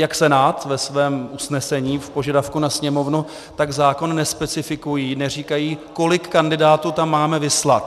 Jak Senát ve svém usnesení v požadavku na Sněmovnu, tak zákon nespecifikují, neříkají, kolik kandidátů tam máme vyslat.